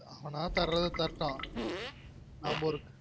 அவனா தர்ரது தரட்டும் நம்ம ஒரு